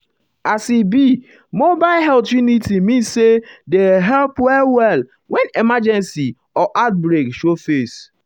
as um e e be mobile health uniti um mean say dey help well-well when emergency or outbreak show face.